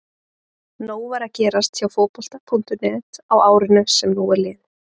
Nóg var að gerast hjá Fótbolta.net á árinu sem nú er liðið.